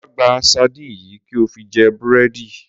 Wá gba sardines yìí kí o fi jẹ búrẹ́dì.